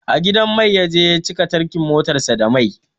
A gidan mai ya je ya cika tankin motar sa da mai